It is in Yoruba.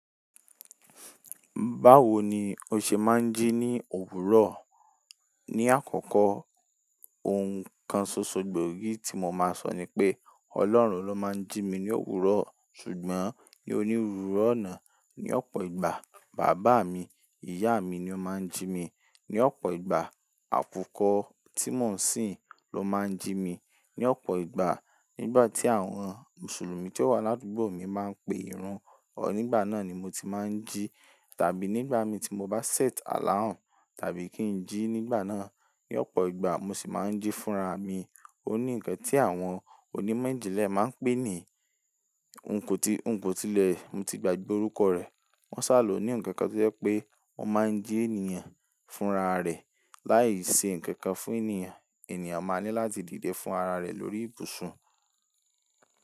Báwo ni o ṣe máa ń jí ní òwúrọ̀? Ni àkọ́kọ́, ohun kan ṣoṣo gbòógì tí mo máa sọ ni pé Ọlọ́run ló máa ń jí mi ní òwúrọ̀. Ṣùgbọ́n ní onírúurú ọ̀nà. Ní ọ̀pọ̀ ìgbà, bàbá mi, ìyá mi ni ó máa ń jí mi. Ní ọ̀pọ̀ ìgbà, àkùkọ tí mò ń sìn ló máa ń jí mi. Ní ọ̀pọ̀ ìgbà, nígbà tí àwọn Mùsùlùmí tí ó wà l'ádùgbò mi máa ń pe ìrun, nígbà náà ni mo ti máa ń jí. Tàbí nígbà mi tí mo bá set alarm tàbí kí n jí nígbà náà. Ní ọ̀pọ̀ ìgbà mo sì máa ń jí fúnra mi. Ó ní ǹkan tí àwọn onímọ̀ ìjìnlẹ̀ máa ń pè ní ohunkóti-- ohunkóti ilẹ̀, mo ti gbàgbé orúkọ rẹ̀. Wọ́n ṣàlò ní ǹkan kan tí ó jẹ́ pé ó máa ń jí ènìyàn fúnra rẹ̀. Láì ṣe ǹkan kan fún ènìyàn, ènìyàn máa ní láti dìde fúnra rẹ̀ lórí ibùsùn.